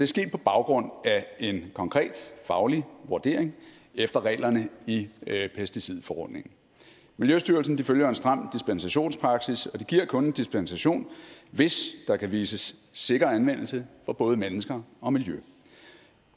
sket på baggrund af en konkret faglig vurdering efter reglerne i pesticidforordningen miljøstyrelsen følger en stram dispensationspraksis og de giver kun en dispensation hvis der kan vises sikker anvendelse for både mennesker og miljø